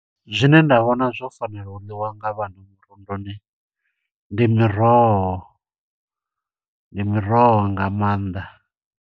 Zwine nda vhona zwo fanela u ḽiwa nga vhana murunduni, ndi miroho, ndi miroho nga maanḓa.